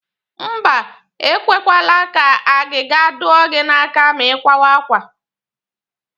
Mba, e kwekwala ka agịga dụọ gị n'aka ma ị kwawa àkwá